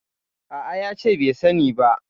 A'a, ya ce bai sani ba.